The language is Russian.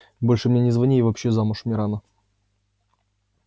больше мне не звони и вообще замуж мне рано